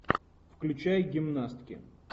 включай гимнастки